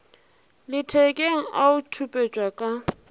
lethekeng a o khupetša ka